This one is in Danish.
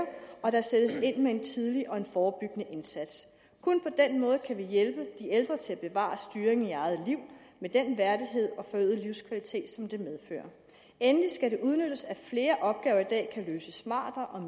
og at der sættes ind med en tidlig og forebyggende indsats kun på den måde kan vi hjælpe de ældre til at bevare styrken i eget liv med den værdighed og forøgede livskvalitet som det medfører endelig skal det udnyttes at flere opgaver i dag kan løses smartere og